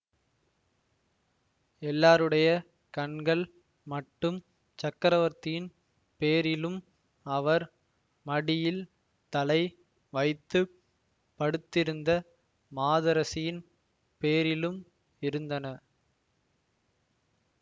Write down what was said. எல்லாருடைய கண்கள் மட்டும் சக்கரவர்த்தியின் பேரிலும் அவர் மடியில் தலை வைத்து படுத்திருந்த மாதரசியின் பேரிலும் இருந்தன